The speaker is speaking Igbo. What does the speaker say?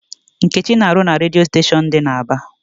Nkechi na-arụ na redio station dị n'Aba.